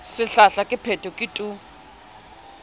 sehlahla ke phetho ke tu